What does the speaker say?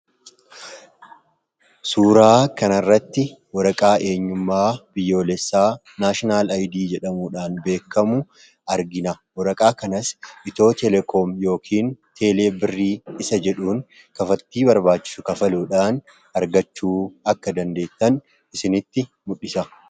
Suuraa kanaarratti waraqaa eenyummaa biyyoolessaa naashinaal ayidi jedhamuudhaan beekamu argina. waraqaa kanas itiyoo teleekoomi yookiin teele birrii isa jedhuun kafalti barbaachisu kafaluudhaan argachuu akka dandeettan isinitti mul'isa.